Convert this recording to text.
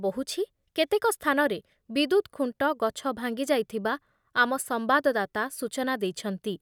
ବହୁଛି। କେତେକ ସ୍ଥାନରେ ବିଦ୍ୟୁତ୍ ଖୁଣ୍ଟ , ଗଛ ଭାଙ୍ଗିଯାଇଥିବା ଆମ ସମ୍ବାଦଦାତା ସୂଚନା ଦେଇଛନ୍ତି ।